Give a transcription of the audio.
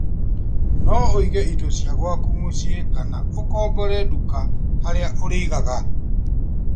No ũige indo icio gwaku mũciĩ kana ũkombore nduka harĩa ũrĩigaga